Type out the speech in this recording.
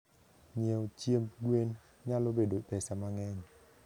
nyie chiembe gwen nyalo bedo pesa mangeny